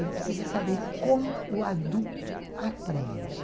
Ele precisa saber como o adulto aprende.